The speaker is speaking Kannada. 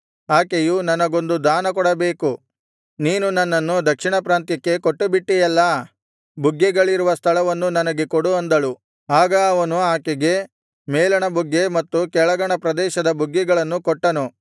ಆಕೆಯು ನನಗೊಂದು ದಾನಕೊಡಬೇಕು ನೀನು ನನ್ನನ್ನು ದಕ್ಷಿಣ ಪ್ರಾಂತ್ಯಕ್ಕೆ ಕೊಟ್ಟುಬಿಟ್ಟಿಯಲ್ಲಾ ಬುಗ್ಗೆಗಳಿರುವ ಸ್ಥಳವನ್ನು ನನಗೆ ಕೊಡು ಅಂದಳು ಆಗ ಅವನು ಆಕೆಗೆ ಮೇಲಣ ಬುಗ್ಗೆ ಮತ್ತು ಕೆಳಗಣ ಪ್ರದೇಶದ ಬುಗ್ಗೆಗಳನ್ನು ಕೊಟ್ಟನು